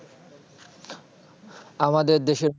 আমাদের দেশে